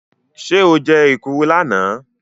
Ṣé o jẹ́ èkuru lánàá?